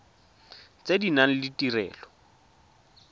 tse di nang le ditirelo